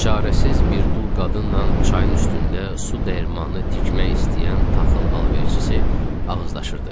Çarəsiz bir dul qadınla çayın üstündə su dəyirmanı tikmək istəyən taxıl alverçisi ağızlaşırdı.